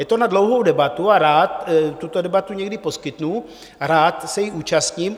Je to na dlouhou debatu a rád tuto debatu někdy poskytnu, rád se jí zúčastním.